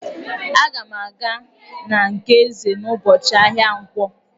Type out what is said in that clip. Aga m aga na nke Eze n'ụbọchị ahịa nkwọ.